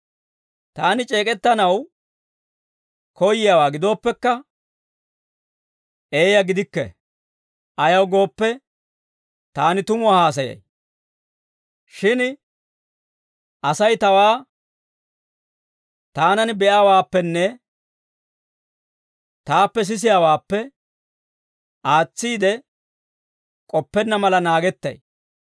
Taani c'eek'ettanaw koyyiyaawaa gidooppekka eeyaa gidikke; ayaw gooppe, taani tumuwaa haasayay. Shin Asay tawaa taanan be'iyaawaappenne taappe sisiyaawaappe aatsiide k'oppenna mala naagettay.